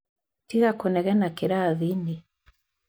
Tiga kũnegena kĩrathi-inĩ.